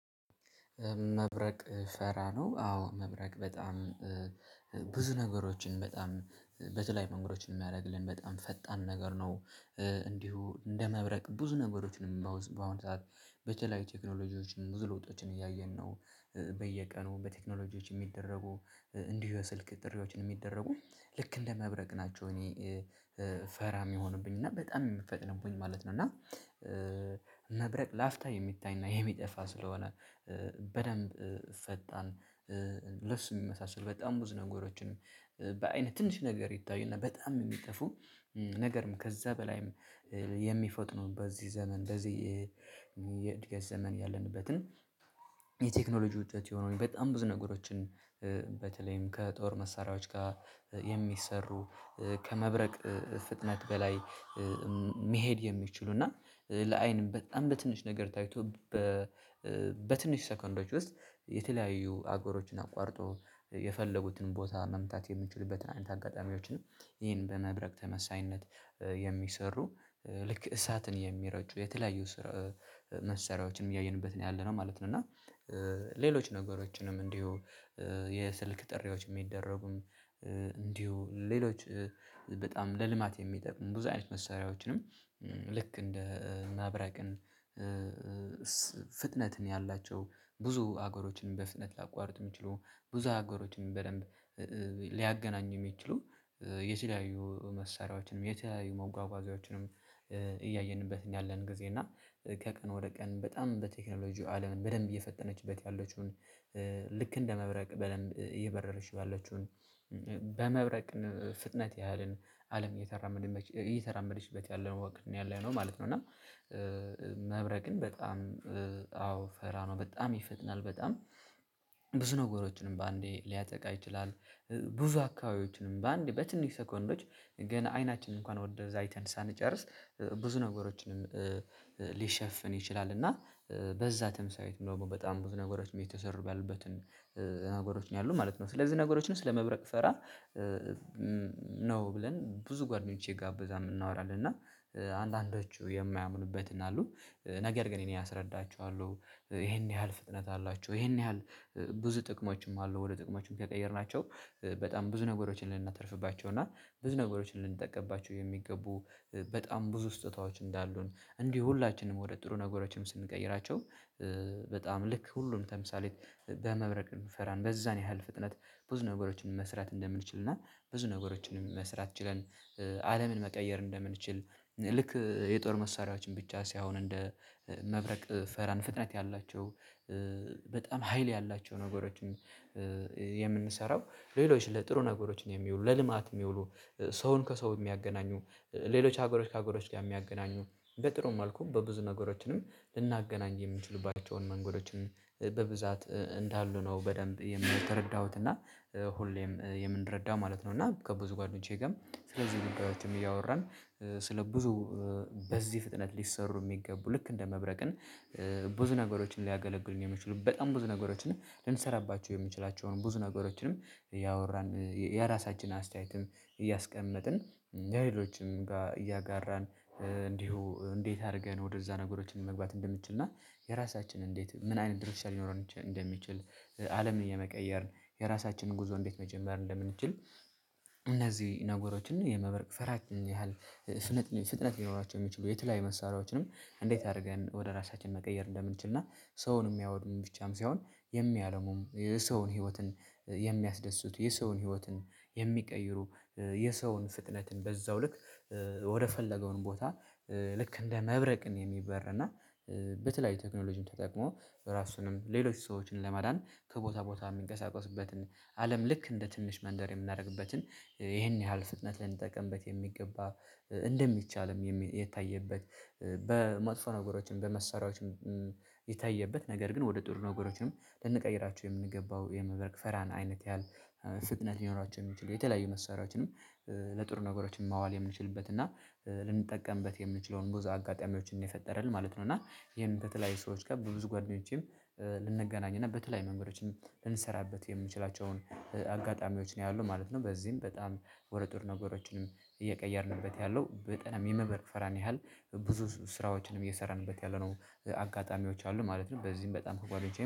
መብረቅ ፈራ ነው አዎ መብረቅ በጣም ብዙ ነገሮችን በጣም በተለይ መንገዶችን የሚያደርግልን በጣም ፈጣን ነገር ነው። እንዲሁ እንደ መብረቅ ብዙ ነገሮችንም በአሁን ሰዓት በተለያዩ ቴክኖሎጂዎች ሙሉ ወጦችን እያየን ነው በየቀኑ በቴክኖሎጂዎች የሚደረጉ እንዲሁ የስልክ ጥሪዎችን የሚደረጉ ልክ እንደ መብረቅ ናቸው። እኔ ፈራ የሚሆንብኝ እና በጣም የምፈጥርብኝ ማለት ነው። እና መብረቅ ላፍታ የሚታይና የሚጠፋ ስለሆነ በደንብ ፈጣን የሚመሳሰል በጣም ብዙ ነገሮችን በአይነት ትንሽ ነገር ይታዩና በጣም የሚጠፉ ነገርም ከዛ በላይም የሚፈጥኑ በዚህ ዘመን በዚህ የእድገት ዘመን ያለንበትን የቴክኖሎጂ ውጤት የሆነውን በጣም ብዙ ነገሮችን በተለይም ከጦር መሳሪያዎች ጋር የሚሰሩ ከመብረቅ ፍጥነት በላይ መሄድ የሚችሉ እና ለአይንም በጣም በትንሽ ነገር ታይቶ በ በትንሽ ሰከንዶች ውስጥ የተለያዩ አገሮችን አቋርጦ የፈለጉትን ቦታ መምታት የምንችልበትን አጋጣሚዎችንም ይሄን በመብረቅ ተመሳሳይነት የሚሰሩ ልክ እሳትን የሚረጩ የተለያዩ ስራ መሰሪያዎችን እያየንበት ነው ያለነው ማለት ነው። እና ሌሎች ነገሮችንም እንዲሁ የስልክ ጥሪዎች የሚደረጉም እንዲሁ ሌሎች በጣም ለልማት የሚጠቅም ብዙ አይነት መሳሪያዎችንም ልክ እንደ መብረቅም ፍጥነትን ያላቸው ብዙ ሀገሮችን በፍጥነት ላቋርጥ የሚችሉ ብዙ ሀገሮችም በደንብ ሊያገናኙ የሚችሉ የተለያዩ መሳሪያዎችንም የተለያዩ መጓጓዣዎችንም እያየንበት ያለን ጊዜ እና ከቀን ወደ ቀን በጣም በቴክኖሎጂው አለምን በደንብ እየፈጠነችበት ያለችውን ልክ እንደ መብረቅ በደንብ እየበረረችው ባለችውን በመብረቅ ፍጥነት ያህልን አለም እየተራመደችበት ያለው ወቅት ነው ያለነው ማለት ነው። እና መብረቅን በጣም አዎ ፈራ ነው በጣም ይፈጥናል በጣም ብዙ ነገሮችንም በአንዴ ሊያጠቃ ይችላል። ብዙ አካባቢዎችንም በአንድ በትንሽ ሰኮንዶች ግን አይናችንን እንኳን ወደዛ አይተን ሳንጨርስ ብዙ ነገሮችንም ሊሸፍን ይችላል እና በዛ ተምሳሌት ነው በጣም ብዙ ነገሮች እየተሰሩ ያሉበት ነገሮችን ያሉ ማለት ነው። ስለዚህ ነገሮችን ስለመብረቅ ፈራ ነው ብለን ብዙ ጓደኞቼ ጋብዛ የምናወራለን እና አንዳንዶቹ የማያምኑበት እና አሉ ነገር ግን እኔ አስረዳችኋለሁ ይሄን ያህል ፍጥነት አላቸው ይሄን ያህል ብዙ ጥቅሞችም አሉ። ወደ ጥቅሞችን ከቀየርናቸው በጣም ብዙ ነገሮችን ልናተርፍባቸው እና ብዙ ነገሮችን ልንጠቀምባቸው የሚገቡ በጣም ብዙ ስጦታዎች እንዳሉን እንዲሁ ሁላችንም ወደ ጥሩ ነገሮችም ስንቀይራቸው በጣም ልክ ሁሉንም ተምሳሌት በመብረቅ እንፈራለን በዛን ያህል ፍጥነት ብዙ ነገሮችን መስራት እንደምንችል እና ብዙ ነገሮችን መስራት ችለን አለምን መቀየር እንደምንችል ልክ የጦር መሳሪያዎችን ብቻ ሲያሁን እንደ መብረቅ ፈራን ፍጥነት ያላቸው በጣም ሀይል ያላቸው ነገሮችን የምንሰራው ሌሎች ለጥሩ ነገሮች ነው የሚውሉ ለልማት የሚውሉ ሰውን ከሰው የሚያገናኙ ሌሎች ሀገሮች ከሀገሮች ጋር የሚያገናኙ በጥሩም መልኩ በብዙ ነገሮችንም ልናገናኝ የምንችሉባቸውን መንገዶችን በብዛት እንዳሉ ነው። በደንብ የተረዳሁት እና ሁሌም የምንረዳው ማለት ነው። እና ከብዙ ጓደኞቼ ጋር ስለዚህ ግን እያወራን ስለ ብዙ በዚህ ፍጥነት ሊሰሩ የሚገቡ ልክ እንደ መብረቅን ብዙ ነገሮችን ሊያገለግሉኝ የሚችሉ በጣም ብዙ ነገሮችን ልንሰራባቸው የሚችላቸውን ብዙ ነገሮችንም እያወራን የራሳችንን አስተያየትም እያስቀመጥን ሌሎችን እያጋራን እንዲሁ እንዴት አድርገን ወደዛ ነገሮችን መግባት እንደምትችል እና የራሳችንን እንዴት ምን አይነት ድርሻ ሊኖረን እንደሚችል አለምን የመቀየርን የራሳችንን ጉዞ እንዴት መጀመር እንደምንችል እነዚህ ነገሮችን የመብርቅ ፈራች ያህል ፍጥነት ሊኖራቸው የሚችሉ የተለያዩ መሳሪያዎችንም እንዴት አድርገን ወደ ራሳችን መቀየር እንደምንችል እና ሰውን የሚያወድም ብቻም ሳይሆን የሚያለሙም የሰውን ህይወትን የሚያስደስቱ የሰውን ህይወትን የሚቀይሩ የሰውን ፍጥነትን በዛው ልክ ወደፈለገውን ቦታ ልክ እንደ መብረቅ የሚበር እና በተለያዩ ቴክኖሎጂን ተጠቅሞ ራሱንም ሌሎች ሰዎችን ለማዳን ከቦታ ቦታ የሚንቀሳቀስበትን አለም ልክ እንደ ትንሽ መንደር የምናደርግበትን ይሄን ያህል ፍጥነት ልንጠቀምበት የሚገባ እንደሚቻልም የታየበት በመጥፎ ነገሮችን በመሳሪያዎችን የታየበት ነገር ግን ወደ ጥሩ ነገሮችንም ልንቀይራችሁ የምንገባው የመብረቅ ፈራን አይነት ያህል ፍጥነት ሊኖራቸው የሚችሉ የተለያዩ መሳሪያዎችንም ለጥሩ ነገሮችን ማዋል የምንችልበት እና ልንጠቀምበት የምንችለውን ብዙ አጋጣሚዎችን ነው የፈጠረልን ማለት ነው። እና ይሄን በተለያዩ ሰዎች ጋር በብዙ ጓደኞቼም ልንገናኝ እና በተለይ መንገዶችን ልንሰራበት የምችላቸውን አጋጣሚዎች ነው ያለው ማለት ነው። በዚህም በጣም ወደ ጥሩ ነገሮችንም እየቀየርንበት ያለው በጠናም የመበርክ ፈራን ያህል ብዙ ስራዎችንም እየሰራንበት ያለነው አጋጣሚዎች አሉ ማለት ነው። በዚህም በጣም ከጓደኞቼ